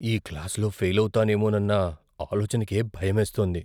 ఈ క్లాసులో ఫెయిల్ అవుతానేమోనన్న ఆలోచనకే భయమేస్తోంది.